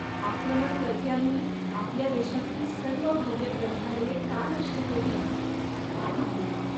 आक्रमणकर्त्यांनी आपल्या देशातील सर्व भव्य ग्रंथालये का नष्ट केली काय माहित.